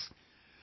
Friends,